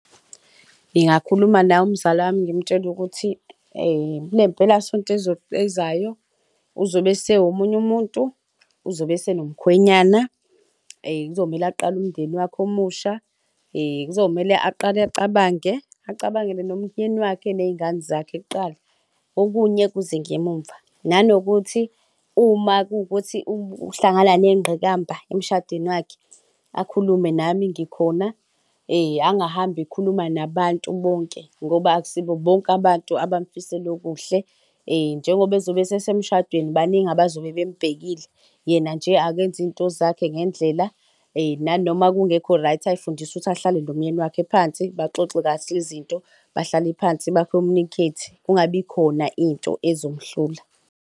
Ngingakhuluma naye umzala wami, ngimtshele ukuthi kule mpelasonto ezayo uzobe esewumunye umuntu, uzobe esenomkhwenyane, kuzomele uqale umndeni wakhe omusha. Kuzomele aqale acabange, acabangele nomyeni wakhe ney'ngane zakhe kuqala, okunye kuze ngemumva. Nanokuthi uma kuwukuthi uhlangana ney'ngqikamba emshadweni wakhe akhulume nami ngikhona angahambi ekhuluma nabantu bonke ngoba akusibo bonke abantu abamfisela okuhle. Njengoba ezobe esesemshadweni, baningi abazobe bembhekile, yena nje akenze iy'nto zakhe ngendlela nanoma kungekho right, azifundise ukuthi ahlale nomyeni wakhe phansi, baxoxe kahle izinto, bahlale phansi bakhomunikhethe, kungabikhona into ezomuhlula.